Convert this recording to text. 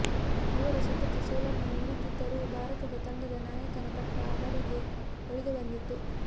ಅವರು ಸತತ ಸೋಲನ್ನು ಉಣ್ಣುತ್ತಿದ್ದರೂ ಭಾರತದ ತಂಡದ ನಾಯಕನ ಪಟ್ಟ ಅವರಿಗೆ ಒಲಿದು ಬಂದಿತ್ತು